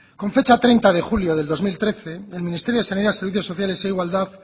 con fecha treinta de julio de dos mil trece el ministerio de sanidad servicios sociales e igualdad